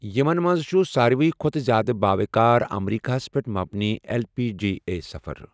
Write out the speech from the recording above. یِمَن منٛز چھُ ساروِی کھوتہٕ زیادٕ باوقار امریکہ ہَس پٮ۪ٹھ مبنی ایل پی جی اے سفر۔